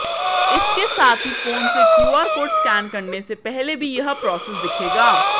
इसके साथ ही फोन से क्यूआर कोड स्कैन करने से पहले भी यह प्रोसेस दिखेगा